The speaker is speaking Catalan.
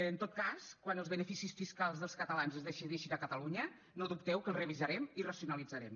en tot cas quan els beneficis fiscals dels catalans es decideixin a catalunya no dubteu que els revisarem i racionalitzarem